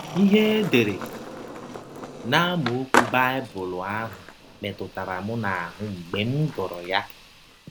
Ihe e dere n’amaọkwụ Baịbụl ahụ metụrụ m n’ahụ́ mgbe m gụrụ ya!